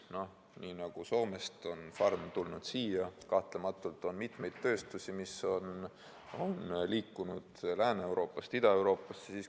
Noh, nii nagu Soomest on suur farm tulnud siia, on kahtlematult ka mitmeid tööstusi, mis on liikunud Lääne-Euroopast Ida-Euroopasse.